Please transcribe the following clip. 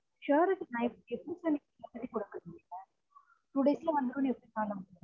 surety time எப்டி சொல்ரீங்க வந்துரும்னு two days ல வந்துரும்னு எப்டி நா நம்புறது